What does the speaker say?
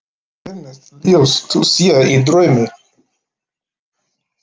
Himneskt ljós þú sér í draumi.